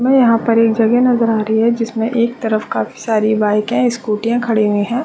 मे यहाँ एक जहग नज़र आ रही है जिसमे एक तरफ काफी सारे बाइके स्कूटीया खड़ी हुई है।